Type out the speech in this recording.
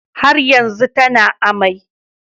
Har yanzu tana amai